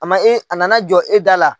A ma ɲi a nana jɔ e da la.